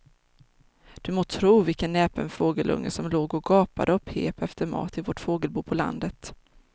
Du må tro vilken näpen fågelunge som låg och gapade och pep efter mat i vårt fågelbo på landet.